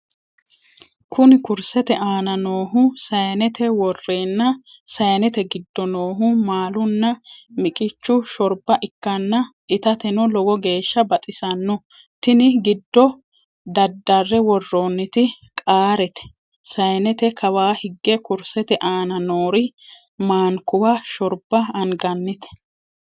Kuni kursete aana noohu sayinete worrenna sayinete giddo noohu maalunna miqichu shorba ikkanna itateno lowo geeshsa baxissanno. tini giddo daddare worronnitino qaarete. sayinete kawa hige kursete aana noori mankuwa shorba angannite.